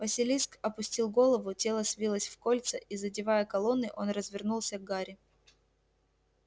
василиск опустил голову тело свилось в кольца и задевая колонны он развернулся к гарри